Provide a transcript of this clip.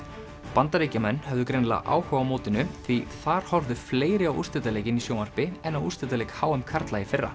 Bandaríkjamenn höfðu greinilega áhuga á mótinu því þar horfðu fleiri á úrslitaleikinn í sjónvarpi en á úrslitaleik h m karla í fyrra